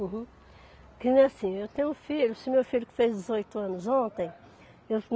Uhum. E assim, eu tenho um filho, esse meu filho que fez dezoito anos ontem.